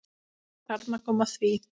Þarna kom að því.